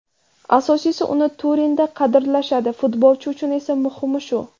Asosiysi, uni Turinda qadrlashadi, futbolchi uchun esa muhimi shu.